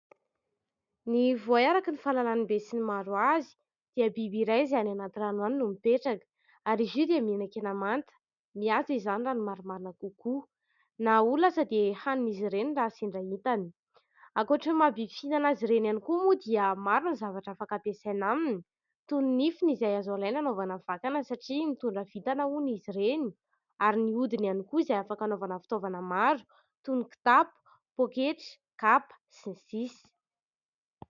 Ny voay, araka ny fahalalan'ny be sy ny maro azy, dia biby iray, izay any anaty rano any no mipetraka. Ary izy io dia mihinan-kena manta ; mihaza izany raha ny marimarina kokoa. Na olana aza dia hanin'izy ireny raha sendra hitany. Ankoatry ny maha-biby fihinana azy ireny ihany koa moa, dia maro ny zavatra afaka ampiasaina aminy : toy ny nifiny, izay azo alaina anaovana vakana satria mitondra vintana hono izy ireny ; ary ny hodiny ihany koa, izay afaka anaovana fitaovana maro, toy ny kitapo, poketra, kapa sy ny sisa.